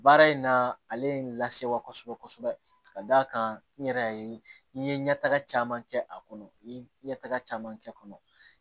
Baara in na ale ye n lasewa kosɛbɛ kosɛbɛ ka d'a kan n yɛrɛ y'a ye n ye ɲɛtaga caman kɛ a kɔnɔ n ye ɲɛtaga caman kɛ a kɔnɔ